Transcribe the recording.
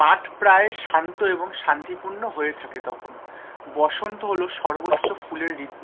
মাঠ প্রায় শান্ত এবং শান্তি পূর্ণ হয়ে থাকে তখন, বসন্ত হলো সর্বোচ্ছ ফুলের ঋতু,